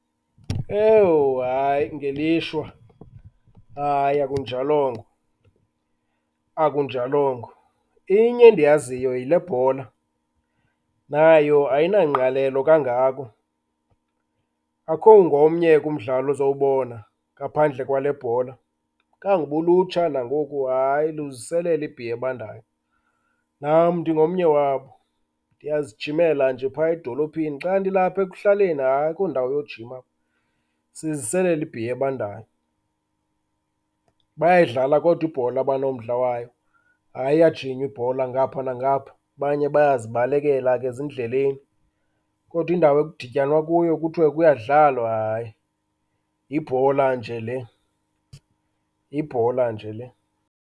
Owu hayi, ngelishwa, hayi akunjalongo, akunjalongo. Inye endiyaziyo, yile bhola. Nayo ayinangqalelo kangako, akukho ngomnye ke umdlalo ozawubona ngaphandle kwale bhola. Kanguba ulutsha nangoku hayi, luziselela ibhiya ebandayo, nam ndingomnye wabo. Ndiyazijimela nje phaya edolophini. Xa ndilapha ekuhlaleni, hayi akho ndawo yojima apha, siziselela ibhiya ebandayo. Bayayidlala kodwa ibhola abanomdla wayo, hayi iyajinywa ibhola ngapha nangapha, abanye bayazibalekela ke ezindleleni. Kodwa indawo ekudityanwa kuyo kuyadlalwa, hayi, yibhola nje le, yibhola nje le.